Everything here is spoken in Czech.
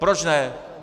Proč ne.